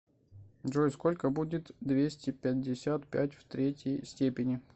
джой сколько будет двести пятьдесят пять в третьей степени